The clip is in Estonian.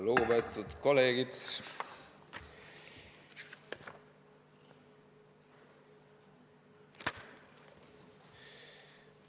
Lugupeetud kolleegid!